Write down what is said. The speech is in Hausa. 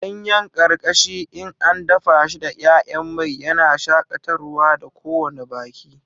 Ganyen karkashi in an dafa shi da 'ya'yan mai, yana shakatarwa da kowane baki.